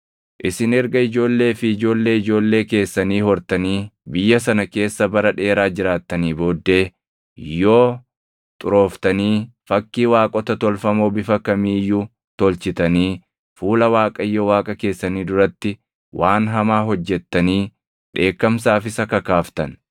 Isin erga ijoollee fi ijoollee ijoollee keessanii hortanii biyya sana keessa bara dheeraa jiraattanii booddee, yoo xurooftanii fakkii waaqota tolfamoo bifa kamii iyyuu tolchitanii fuula Waaqayyo Waaqa keessanii duratti waan hamaa hojjettanii dheekkamsaaf isa kakaaftan,